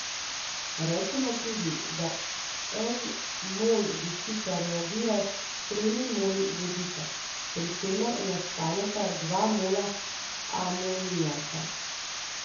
Rečemo tudi, da en mol dušika reagira s tremi moli vodika, pri čemer nastaneta dva mola amonijaka.